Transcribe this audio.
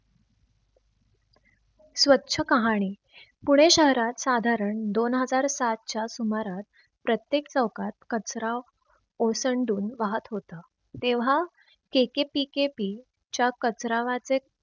स्वछ काहाणी पुणे शहरात साधारण दोन हजार सातच्या सुमारास प्रत्येक चौकात कचरा ओसंडून वाहत होता. तेव्हा KKPKP च्या कचरा वाचक